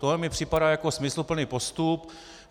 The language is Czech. Tohle mi připadá jako smysluplný postup.